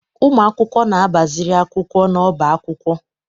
Ụmụ akwụkwọ na-agbaziri akwụkwọ n'ọbá akwụkwọ